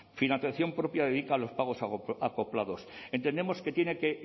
financiación propia dedica a los pagos acoplados entendemos que tiene que